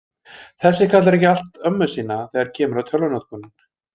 Þessi kallar ekki allt ömmu sína þegar kemur að tölvunotkun.